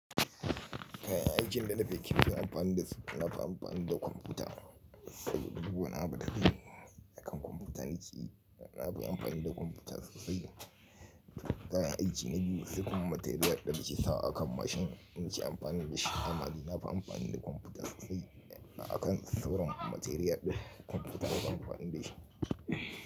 Kayan aikin da na fi kirki na yi amfani da su, na fi amfani da kwamfuta, saboda duk wani abu da zan yi akan kwamfuta na ki, na bi amfani da kwamfuta sosai. Kayan aiki na biyu sai kuma materiyal da muke sawa a kan mashin muke amfani da shi. Amma dai na fi amfani da kwamfuta sosai. Akan sauran material din kwamfuta nafi amfani dashi.